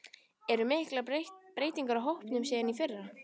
Eru miklar breytingar á hópnum síðan í fyrra?